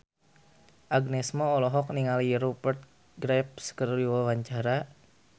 Agnes Mo olohok ningali Rupert Graves keur diwawancara